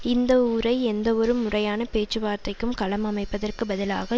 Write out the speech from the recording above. இந்த ஊரை எந்தவொரு முறையான பேச்சுவார்த்தைக்கும் களம் அமைப்பதற்குப் பதிலாக